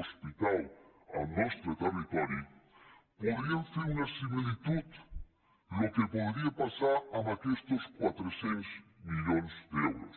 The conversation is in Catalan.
hospital al nostre territori podríem fer una similitud el que podria passar amb aquestos quatre cents milions d’euros